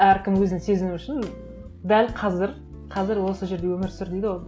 әркім өзін сезіну үшін дәл қазір қазір осы жерде өмір сүр дейді ғой